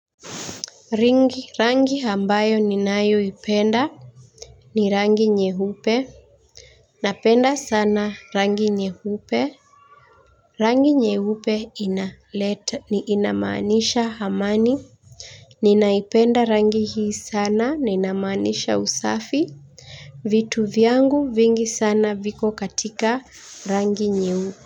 Rangi rangi ambayo ninayoipenda ni rangi nyeupe. Napenda sana rangi nyehupe. Rangi nyeupe inaleta ni inamanisha amani. Ninaipenda rangi hii sana na inamaanisha usafi. Vitu vyangu vingi sana viko katika rangi nyeupe.